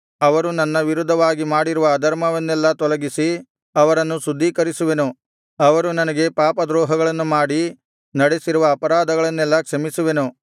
ಅವರು ನನ್ನ ವಿರುದ್ಧವಾಗಿ ಮಾಡಿರುವ ಅಧರ್ಮವನ್ನೆಲ್ಲಾ ತೊಲಗಿಸಿ ಅವರನ್ನು ಶುದ್ಧೀಕರಿಸುವೆನು ಅವರು ನನಗೆ ಪಾಪದ್ರೋಹಗಳನ್ನು ಮಾಡಿ ನಡೆಸಿರುವ ಅಪರಾಧಗಳನ್ನೆಲ್ಲಾ ಕ್ಷಮಿಸುವೆನು